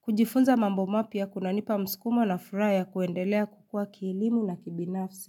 Kujifunza mambo mapya kunanipa mskumo na furaha ya kuendelea kukua kielimu na kibinafsi.